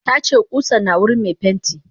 Tace kusan na wurin me pentin.